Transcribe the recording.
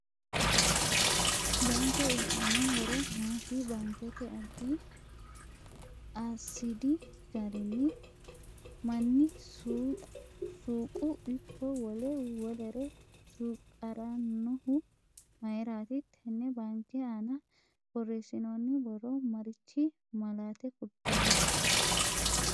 Baankke uyiitanno horo maati baankete addi asdi garinni manni suuqu ikko wole welere suuqirannohu mayiirati tenne baankke aana borreesinooni borro marichi malaate kultanno